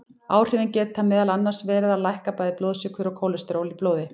Áhrifin geta meðal annars verið að lækka bæði blóðsykur og kólesteról í blóði.